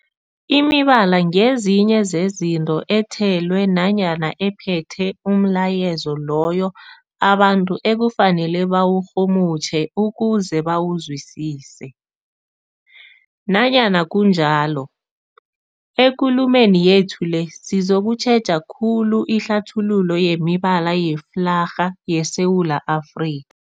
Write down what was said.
Imibala ngezinye zezinto ethelwe nanyana ephethe umlayezo loyo abantu ekufanele bawurhumutjhe ukuze bawuzwisise. Nanyana kunjalo, ekulumeni yethu le sizokutjheja khulu ihlathululo yemibala yeflarha yeSewula Afri